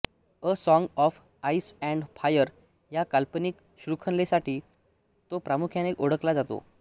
a song of ice and fire ह्या काल्पनिक शृंखलेसाठी तो प्रामुख्याने ओळखला जातो